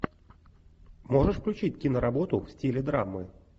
можешь включить киноработу в стиле драмы